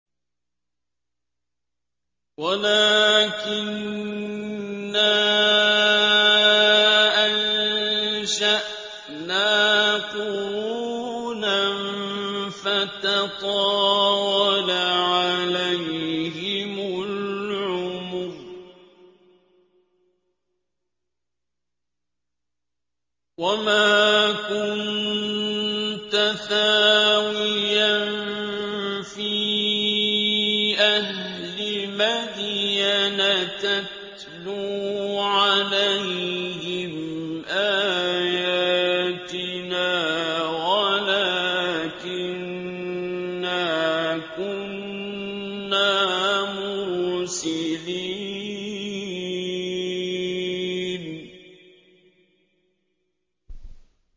وَلَٰكِنَّا أَنشَأْنَا قُرُونًا فَتَطَاوَلَ عَلَيْهِمُ الْعُمُرُ ۚ وَمَا كُنتَ ثَاوِيًا فِي أَهْلِ مَدْيَنَ تَتْلُو عَلَيْهِمْ آيَاتِنَا وَلَٰكِنَّا كُنَّا مُرْسِلِينَ